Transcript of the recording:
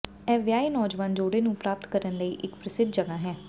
ਇਹ ਵਿਆਹੇ ਨੌਜਵਾਨ ਜੋੜੇ ਨੂੰ ਪ੍ਰਾਪਤ ਕਰਨ ਲਈ ਇੱਕ ਪ੍ਰਸਿੱਧ ਜਗ੍ਹਾ ਹੈ